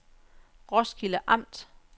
Roskilde Amt